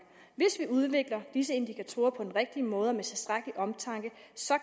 hvis vi udvikler disse indikatorer på den rigtige måde og med tilstrækkelig omtanke